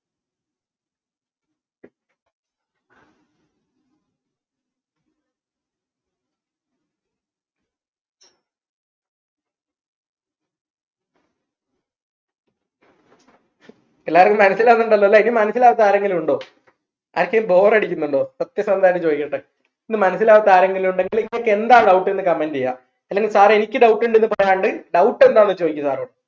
എല്ലാവർക്കും മനസ്സിലാകുന്നുണ്ടല്ലോല്ലേ ഇനി മനസ്സിലാവാത്ത ആരെങ്കിലും ഉണ്ടോ ആർക്കെങ്കിലും bpore ടിക്കുന്നുണ്ടോ സത്യസന്ധമായിട്ട് ചോദിക്കട്ടെ ഇത് മനസ്സിലാവാത്ത ആരെങ്കിലും ഉണ്ടെങ്കിൽ നിങ്ങൾക്ക് എന്താ doubt എന്ന് comment ചെയ്യാം അല്ലെങ്കിൽ സാറേ എനിക്ക് doubt ഉണ്ടെന്ന് പറയാണ്ട് doubt എന്താണ് ചോദിക്ക് സാറോട്